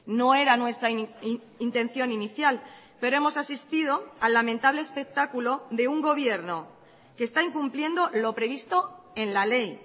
no era nuestra intención inicial pero hemos asistido al lamentable espectáculo de un gobierno que está incumpliendo lo previsto en la ley